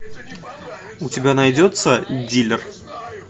у тебя найдется дилер